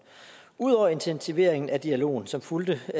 udover intensivering af dialogen som fulgtes